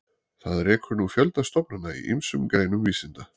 Það rekur nú fjölda stofnana í ýmsum greinum vísinda.